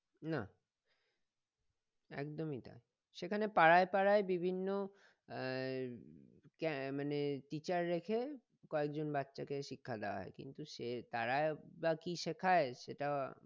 না একদমই তাই সেখানে পাড়ায় পাড়ায় বিভিন্ন আহ ক্যা মানে teacher রেখে কয়েকজন বাচ্চাকে শিক্ষা দেওয়া হয় কিন্তু সে তারাই বা কি শেখায় সেটাও